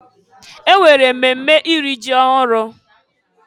E nwere mmemme iri ji ọhụrụ.